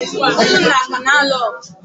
ụmụnna ka na-alụ ọgụ